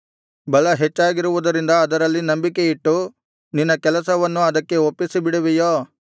ಬಲ ಹೆಚ್ಚಾಗಿರುವುದರಿಂದ ಅದರಲ್ಲಿ ನಂಬಿಕೆಯಿಟ್ಟು ನಿನ್ನ ಕೆಲಸವನ್ನು ಅದಕ್ಕೆ ಒಪ್ಪಿಸಿಬಿಡುವೆಯೋ